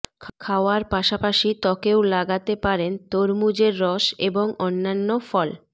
খাওয়ার পাশাপাশি ত্বকেও লাগাতে পারেন তরমুজের রস এবং অন্যান্য ফল